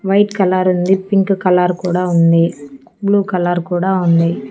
White colour ఉంది pink colour కూడా ఉంది బ్లూ కలర్ కూడా ఉంది.